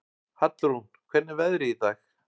Hallrún, hvernig er veðrið í dag?